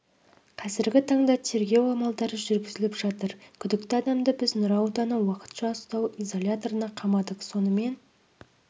қазіргі таңда тергеу амалдары жүргізіліп жатыр күдікті адамды біз нұра ауданы уақытша ұстау изоляторына қамадық сонымен